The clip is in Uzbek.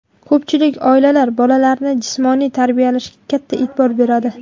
Ko‘pchilik oilalar bolalarini jismoniy tarbiyalashga katta e’tibor beradi.